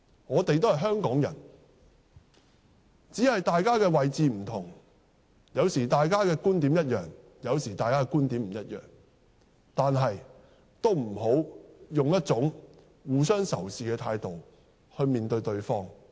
我們都是香港人，只是大家的位置不同，有時大家的觀點相同，有時則不相同，但也不要以互相仇視的態度面對對方。